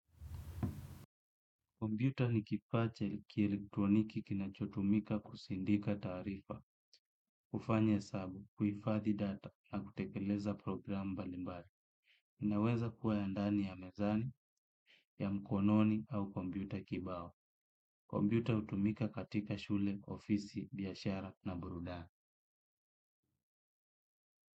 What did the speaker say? Kompyuta ni kifaa cha kielektroniki kinachotumika kusindika taarifa, kufanya hesabu, kuhifadhi data na kutekeleza program mbalimbali. Inaweza kuwa ya ndani ya mezani, ya mkononi au kompyuta kibao. Kompyuta hutumika katika shule, ofisi, biashara na burudani.